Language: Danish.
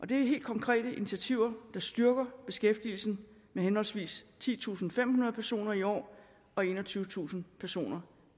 det er helt konkrete initiativer der styrker beskæftigelsen med henholdsvis titusinde og femhundrede personer i år og enogtyvetusind personer